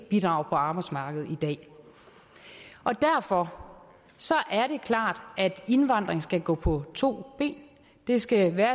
bidrager på arbejdsmarkedet i dag derfor er det klart at indvandring skal gå på to ben det skal være